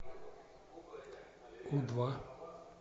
у два